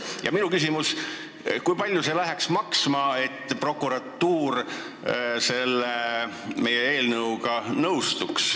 Ja minu küsimus on, kui palju läheks maksma see, et prokuratuur selle meie eelnõuga nõustuks.